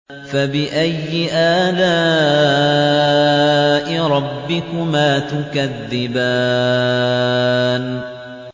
فَبِأَيِّ آلَاءِ رَبِّكُمَا تُكَذِّبَانِ